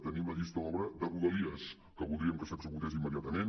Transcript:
tenim la llista d’obra de rodalies que voldríem que s’executés immediatament